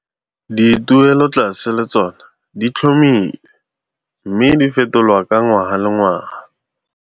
Dituelotlase le tsona di tlhomilwe mme di fetolwa ka ngwaga le ngwaga.